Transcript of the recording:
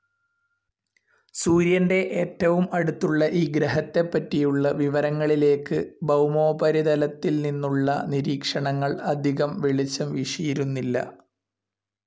സൂര്യന്ടെട്ടവും അടുത്തുള്ള ഈ ഗ്രഹത്തെപറ്റിയുള്ള വിവരങ്ങൾഇലേക്കു ഭൗമോപരിതൾഅതിൽ നിന്നുള്ള നിരീക്ഷണങ്ങൾ അധികം വെളിച്ചം വീശിയിരുന്നില്ല.